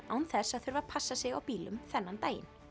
án þess að þurfa að passa sig á bílum þennan daginn